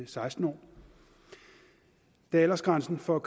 seksten år da aldersgrænsen for